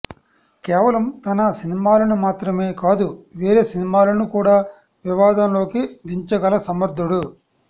కేవలం తన సినిమాలను మాత్రమే కాదు వేరే సినిమాలను కూడా వివాదం లోకి దించగల సమర్థుడు